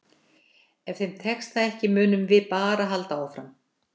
Ef þeim tekst það ekki munum við bara halda áfram.